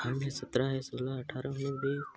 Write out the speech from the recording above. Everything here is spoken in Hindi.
सत्ररा हैसोला है आठरा उनीस बीस--